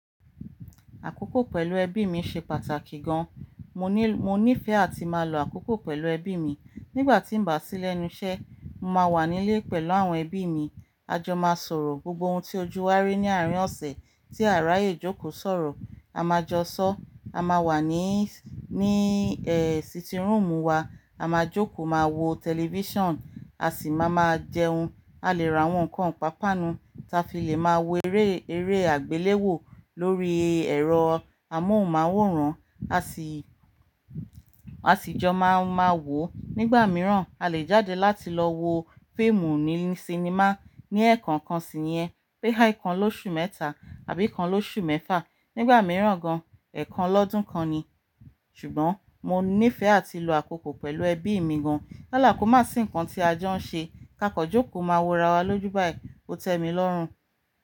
Àkókò pẹ̀lú ẹbí mi ṣe pàtàkì gan. Mo ní, mo nífẹ̀ẹ́ àti máa lọ àkókò pẹ̀lú ẹbí mi. Nígbà tí ń bá sí lẹ́nu iṣẹ́, mo máa wà nílé pẹ̀lú àwọn ẹbí mi. A jọ máa sọ̀rọ̀. Gbogbo oun tí ojú wa rí ní àárín ọ̀sẹ̀ tí àráyè jókòó sọ̀rọ̀, a máa jọ sọ. A máa wà ní, ní ẹ́, sitting room wa. A máa jókòó, máa wo television, a sì máa ma jẹun. A lè ra àwọn nǹkan pàápàá nu ta fi lè máa wo eré, eré àgbéléwò lórí ẹ̀rọ amóhùnmáwòrán, a sì, a sì jọ máa máa wò ó. Nígbà mìíràn, a lè jáde láti lọ wo fíìmù ní sinimá ní ẹ̀ẹ̀kan kan sí ìyẹn. Bí i kan lóṣù mẹ́ta àbí kan lóṣù mẹ́fà. Nígbà mìíràn gan, ẹ̀ẹ̀kan lọ́dún kan ni. Ṣùgbọ́n mo nífẹ̀ẹ́ àti lọ àkókò pẹ̀lú ẹbí mi gan. Yala kò má sí nǹkan tí ajo ń ṣe, ká kan jókòó máa wo ra wa lójú báyìí. Ó tẹ́ mi lọ́rùn.